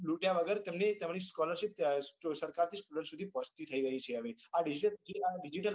તેમની scholarship સરકાર થી student સુધી પોહ્ચતી થઇ ગઈ છે હવે